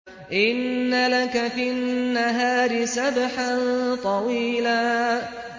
إِنَّ لَكَ فِي النَّهَارِ سَبْحًا طَوِيلًا